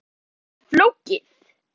Málið sé hins vegar flókið